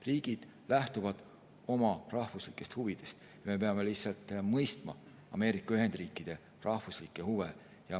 Riigid lähtuvad oma rahvuslikest huvidest ja me peame lihtsalt mõistma Ameerika Ühendriikide rahvuslikke huve.